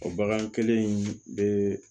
O bagan kelen in bɛ